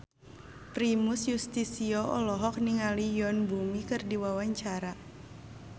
Primus Yustisio olohok ningali Yoon Bomi keur diwawancara